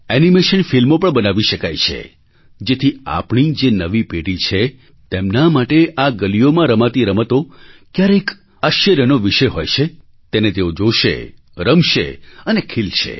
animation ફિલ્મો પણ બનાવી શકાય છે જેથી આપણી જે નવી પેઢી છે તેમના માટે આ ગલીઓમાં રમાતી રમતો ક્યારેક આશ્ચર્યનો વિષય હોય છે તેને તેઓ જોશે રમશે અને ખિલશે